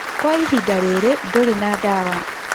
Kwa ihinda rĩrĩ, ndũrĩ na ndawa